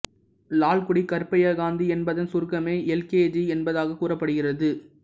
லால்குடி கருப்பையா காந்தி என்பதன் சுருக்கமே L K G என்பதாகக் கூறப்படுகிறது